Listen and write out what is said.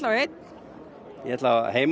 einn ég ætla heim